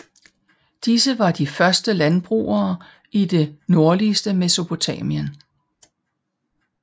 Disse var de første landbrugere i det nordligste Mesopotamien